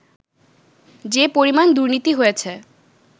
যে পরিমাণ দুর্নীতি হয়েছে